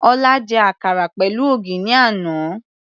Ọlá jẹ àkàrà pẹ̀lú ògì ní àná.